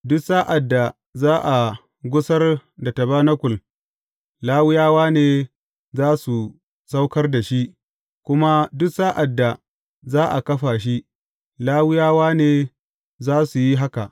Duk sa’ad da za a gusar da tabanakul, Lawiyawa ne za su saukar da shi; kuma duk sa’ad da za a kafa shi, Lawiyawa ne za su yi haka.